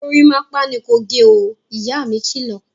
Gorímápá ni kò gẹ ó! Ìyá mi kilọ̀